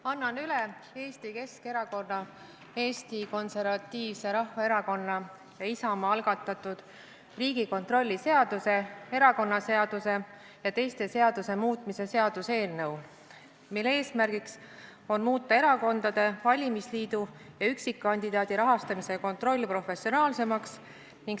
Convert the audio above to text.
Annan üle Eesti Keskerakonna, Eesti Konservatiivse Rahvaerakonna ja Isamaa algatatud Riigikontrolli seaduse, erakonnaseaduse ja teiste seaduste muutmise seaduse eelnõu, mille eesmärk on muuta erakonna, valimisliidu ja üksikkandidaadi rahastamise kontroll professionaalsemaks.